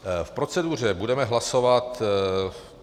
V proceduře budeme hlasovat...